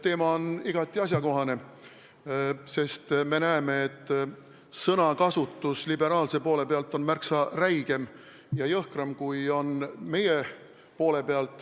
Teema on igati asjakohane, sest me näeme, et sõnakasutus liberaalse poole peal on märksa räigem ja jõhkram, kui on meie poole peal.